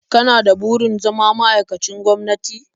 Kana da burin zama ma'aikacin gwamnati?